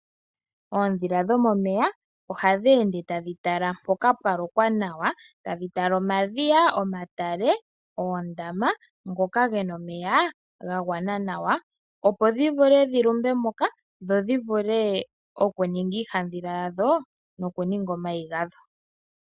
Oondhila dhomomeya ohadhi ende tadhi tala mpoka pwa lokwa nawa tadhi tala omadhiya, omatale noondama ndhoka dhi na omeya ga gwana nawa, opo dhi vule dhi lumbe moka dho dhi vule okuninga iihandhila yadho nokuninga omayi gadho.